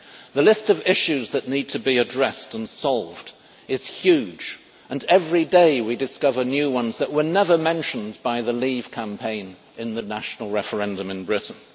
The list of issues that need to be addressed and solved is huge and every day we discover new ones that were never mentioned by the Leave campaign in the national referendum in Britain.